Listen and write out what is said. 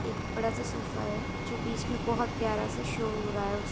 एक बड़ा सा सोफा है जो बीच में बोहत प्यारा सा शो हो रहा है।